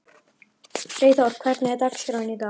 Freyþór, hvernig er dagskráin í dag?